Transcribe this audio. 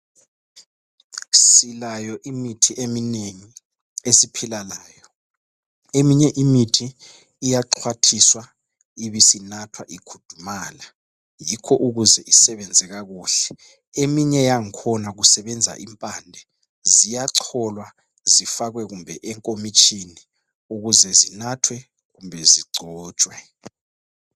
Silayo imithi eminengi esiphila ngayo. Eminye imithi iyaxwathiswa ibisinathwa ikhudumala, yikho ukuze isebenze kakuhle. Eminye yangkhona kusebenza impande. Ziyacholwa zifakwe kumbe enkomitshini ukuze zinathwe kumbe zigcotshwe.